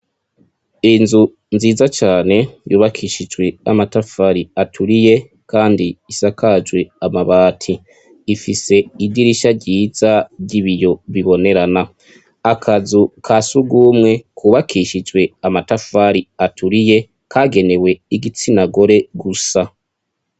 inzu nziza cane yubakishijwe amatafari aturiye kandi isakajwe amabati, ifise idirisha ryiza ry'ibiyo bibonerana, akazu kasugumwe kubakishijwe amatafari aturiye kagenewe igitsina gore gusa.